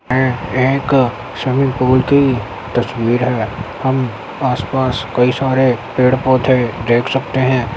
यह एक swimming pool की तस्वीर है हम आस-पास कई सारे पेड़-पोधे देख सकते हैं।